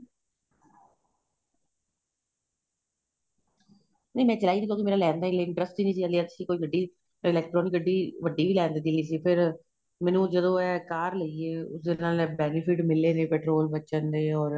ਨਹੀਂ ਮੈਂ ਚਲਾਈ ਨਹੀਂ ਕਿਉਂਕਿ ਮੇਰਾ ਲੈਣ ਹਲੇ interest ਹੀ ਨਹੀਂ ਸੀ ਹਲੇ ਅਸੀਂ ਕੋਈ ਗੱਡੀ electronic ਗੱਡੀ ਵੱਡੀ ਲੈਣ ਦਾ ਦਿਲ ਸੀ ਫ਼ੇਰ ਮੈਨੂੰ ਜਦੋਂ ਏਹ ਕਾਰ ਲਈ ਏ ਉਸ ਦੇ ਨਾਲ benefit ਮਿਲੇ ਨੇ petrol ਬੱਚਣ ਦੇ ਔਰ